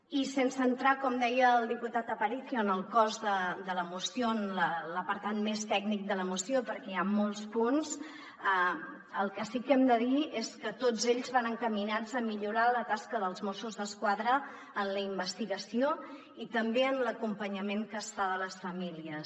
i sense entrar com deia el diputat aparicio en el cos de la moció en l’apartat més tècnic de la moció perquè hi ha molts punts el que sí que hem de dir és que tots ells van encaminats a millorar la tasca dels mossos d’esquadra en la investigació i també en l’acompanyament que es fa de les famílies